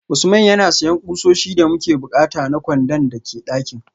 Usman yana siyan kusoshi da muke bukata na kwandon da ke dakin